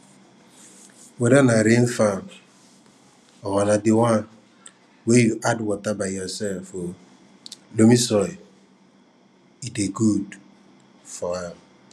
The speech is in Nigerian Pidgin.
weda na rain farm or na the one way you add water by yourself o loamy soil dey good for am